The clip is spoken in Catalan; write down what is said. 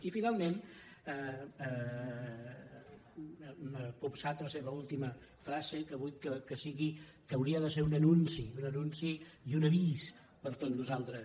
i finalment m’ha sobtat la seva última frase que hauria de ser un anunci un anunci i un avís per a tots nosaltres